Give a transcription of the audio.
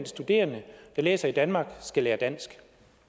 studerende der læser i danmark skal lære dansk